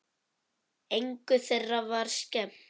Engu þeirra var skemmt.